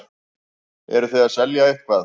Eruð þið að selja eitthvað?